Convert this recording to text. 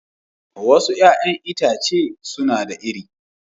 Wasu 'ya'yan itace suna da iri